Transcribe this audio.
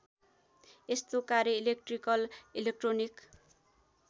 यस्तो कार्य electrical electronic